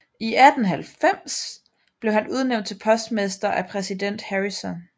I 1890 blev han udnævnt til postmester af præsident Harrison